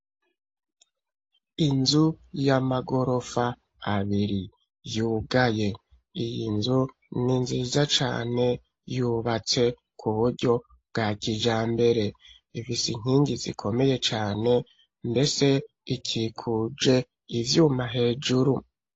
Inzu y'amagorofa abiri, yugaye; iyi nzu ni nziza cane, yubatse ku buryo bwa kijambere, ifise inkingi zikomeye cane, mbese ikikuje ivyuma hejuru.